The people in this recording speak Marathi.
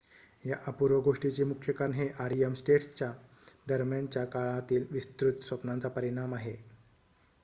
या अपूर्व गोष्टीचे मुख्य कारण हे rem स्टेट्स दरम्यानच्या काळातील विस्तृत स्वप्नांचा परिणाम आहे